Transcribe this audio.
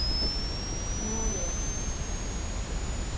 Mariager